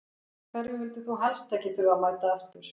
Hverjum vildir þú helst ekki þurfa að mæta aftur?